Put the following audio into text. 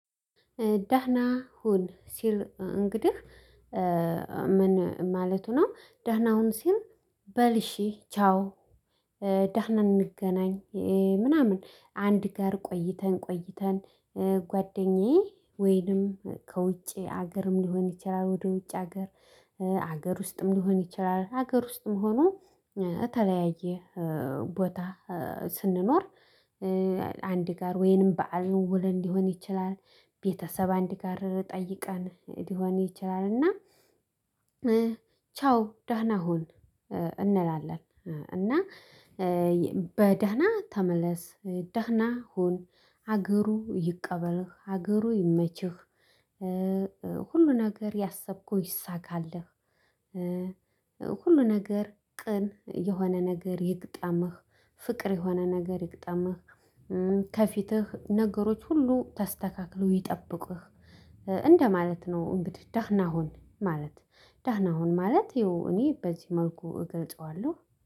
ደህና ሁን ሲል እንግዲህ ምን ማለቱ ነው? ዳህና ሁን ሲል በል እሺ ቻው። ደህና እንገናኝ ምናምን አንድ ጋር ቆይተን ቆይተን ጓደኛዬ ወይንም ከውጭ ሀገርም ሊሆን ይችላል። ወደ ውጭ ሀገር ሀገር ውስጥም ሊሆን ይችላል። ሀገር ውስጥም ሆኖ እተለያየ ቦታ ስንኖር አንድ ጋር ወይንም በዓል ውለን ሊሆን ይችላል። ቤተሰብ አንድ ጋር ጠይቀን ሊሆን ይችላል እና ቻው ደህና ሁን እንላለን። እና በደህና ተመለስ ደህና ሁን ሀገሩ ይቀበልህ ሀገሩ ይመችህ። ሁሉ ነገር ያሰብከው ይሳካልህ። ሁሉ ነገር ቅን የሆነ ነገር ይግጠምህ። ፍቅር የሆነ ነገር ይግጠምህ። ከፊትህ ነገሮች ሁሉ ተስተካክለው ይጠብቅህ እንደማለት ነው። እንግዲህ ደህና ሁን ማለት። ደህና ሁን ማለት ይሄው እኔ በዚህ መልኩ እገልጸዋለሁ።